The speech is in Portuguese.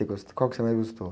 E qual que você mais gostou?